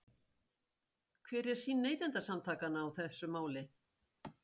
Hver er sýn Neytendasamtakanna á þetta mál?